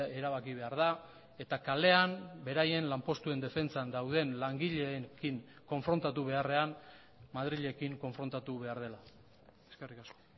erabaki behar da eta kalean beraien lanpostuen defentsan dauden langileekin konfrontatu beharrean madrilekin konfrontatu behar dela eskerrik asko